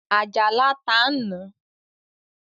Àjàlá ta ń na